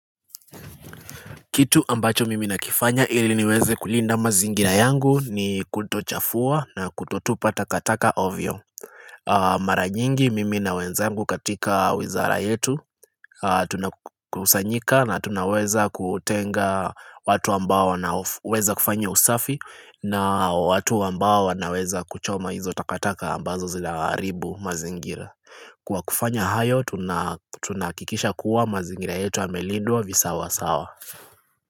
Kitu ambacho mimi nakifanya ili niweze kulinda mazingira yangu ni kutochafua na kutotupa takataka ovyo. Maranyingi mimi na wenzangu katika wizara yetu tunakusanyika na tunaweza kutenga watu ambao wana weza kufanya usafi na watu ambao wana weza kuchoma hizo takataka ambazo zinaharibu mazingira. Kwa kufanya hayo tunakikisha kuwa mazingira yetu yamelindwa visawa sawa.